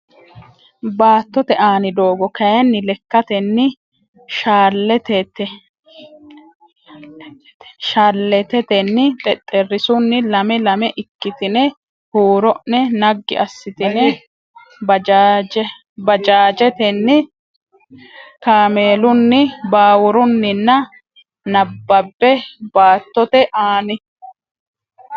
Baattote aani doogo kayinni lekkatenni shalleettetenni xexxerrisunni lame lame ikkitine huuro ne naggi assitine baajaajetenni kaameelunni baawurunninna nabbabbe Baattote aani.